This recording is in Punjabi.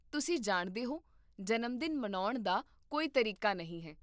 ਤੁਸੀਂ ਜਾਣਦੇ ਹੋ, ਜਨਮਦਿਨ ਮਨਾਉਣ ਦਾ ਕੋਈ ਤਰੀਕਾ ਨਹੀਂ ਹੈ